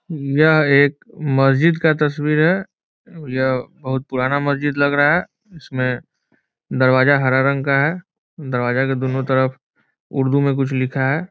यह एक मस्जिद का तस्वीर है। यह बहुत पुराना मस्जिद लग रहा है। इसमें दरवाजा हरा रंग का है। दरवाजा के दुनू तरफ उर्दू में कुछ लिखा है।